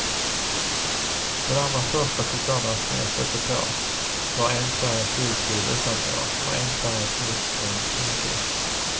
Den allra första chokladasken jag stötte på var enfärgat ljusgul utanpå och enfärgat mörkbrun inuti.